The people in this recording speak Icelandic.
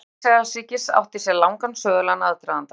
Stofnun Ísraelsríkis átti sér langan sögulegan aðdraganda.